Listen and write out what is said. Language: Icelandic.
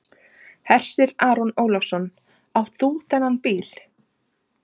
Hersir Aron Ólafsson: Átt þú þennan bíl?